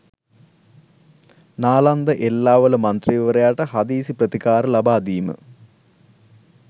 නාලන්ද එල්ලාවල මන්ත්‍රීවරයාට හදිසි ප්‍රතිකාර ලබාදීම